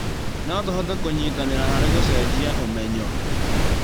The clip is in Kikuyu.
No tũhote kũnyitanĩra harĩ gũcenjia ũmenyo